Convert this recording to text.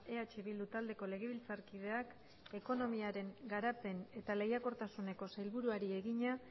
eh bildu taldeko legebiltzarkideak ekonomiaren garapen eta lehiakortasuneko sailburuari egina